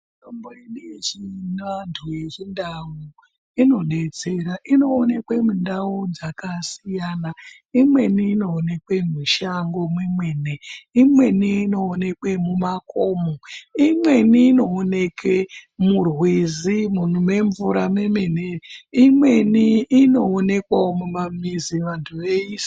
Mitombo ino yechi anthu, yechindau inodetsera, inoonekwa mundau dzakasiyana, imweni inoonekwe mushango mwemene, imweni inoonekwe mumakomo, imweni inooneke murwizi mune mvura mwemene, imweni inoonekwawo mumamizi vanthu veisima.